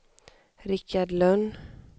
Rikard Lönn